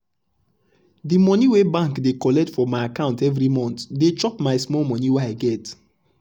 de monie wey bank dey collect from my account every month dey chop my small money wey i get. um